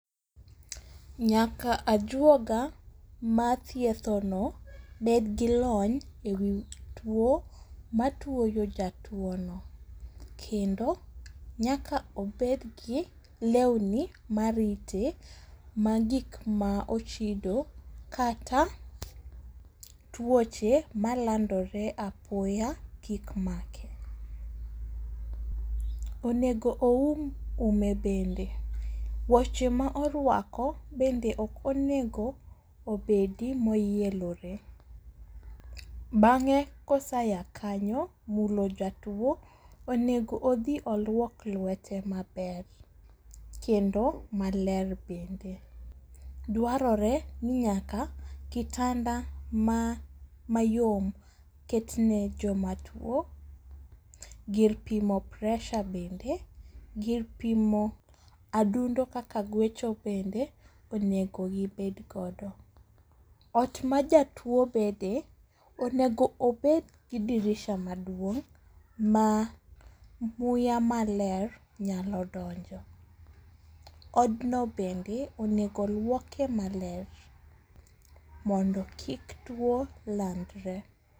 Nyaka ajuoga mathiethono bed gi lony e wi tuwo matuoyo jatuwono. Kendo nyaka obed gi lewni marite ma gik ma ochido kata tuoche malandore apoya kik make. Onego oum ume bende ,woche ma orwako bende ok onego obedi moyelore, bang'e koseya kanyo, mulo jatuwo, onego odhi olwok lwete maber kendo maler bende. Dwarore ni nyaka kitanda mayom ketne jomatuwo, gir pimo pressure bende, gir pimo adundo kaka gwecho bende onego gibed godo. Ot ma jatuwo bede, onego obed gi dirisha maduong' ma muya maler nyalo donjo. Odno bende onego lwoke maler mondo kik tuwo landre.